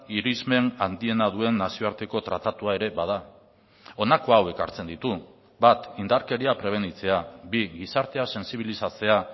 irizmen handiena duen nazioarteko tratatua ere bada honako hau ekartzen ditu bat indarkeria prebenitzea bi gizartea sentsibilizatzea